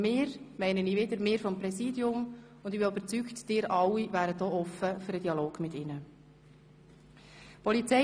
Mit «wir» meine ich wiederum uns seitens des Präsidiums, und ich bin überzeugt, dass auch Sie alle offen für den Dialog mit ihnen wären.